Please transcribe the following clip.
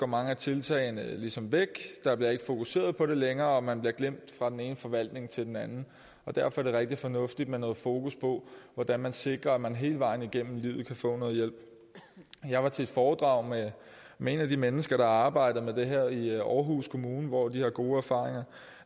mange af tiltagene ligesom væk der bliver ikke fokuseret på det længere og man bliver glemt fra den ene forvaltning til den anden derfor er det rigtig fornuftigt med noget fokus på hvordan vi sikrer at man hele vejen igennem livet kan få noget hjælp jeg var til et foredrag med et af de mennesker der har arbejdet med det her i aarhus kommune hvor de har gode erfaringer